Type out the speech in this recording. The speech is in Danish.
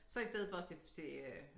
Så i stedet for at se se øh